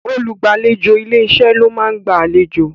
Olùgbàlejò ilé-iṣẹ́ ló máa ń gba àlejò